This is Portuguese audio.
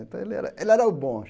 Então ele era ele era o bom.